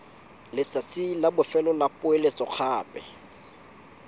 letsatsi la bofelo la poeletsogape